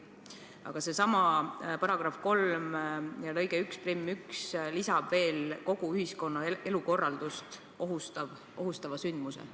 Aga sellesama § 3 lõike 1 punkt 1 lisab veel kogu ühiskonna elukorraldust ohustava sündmuse.